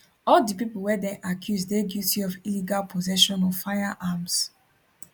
all di pipo wey dem accuse dey guilty of illegal possession of firearms